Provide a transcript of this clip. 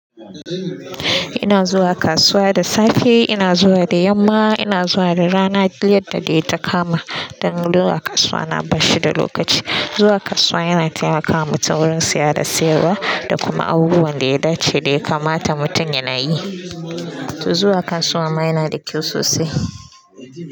Ina zuwa kasuwa da safe, ina zuwa da yamma, ina zuwa da rana. Duyyadda dai ta kama, dan zuwa kasuwa na bashi da lokaci. Zuwa kasuwa yana taimaka wa mutum wurin siya da siyarwa, da kuma abubuwan da ya dace da ya kamata mutum yana yi. To zuwa kasuwa ma yana da kyau sosai.